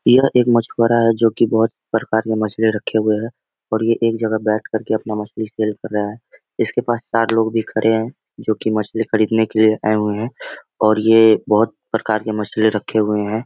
यह एक मछुआरा है जो की बहुत प्रकार का मछली रखे हुए हैं और ये एक जगह बैठ कर के मछली सेल कर रहा है इसके पास चार लोग भी खड़े हैं जो की मछली खरीदने के लिए आए हुए हैं और ये बहुत प्रकार के मछली रखे हुए हैं।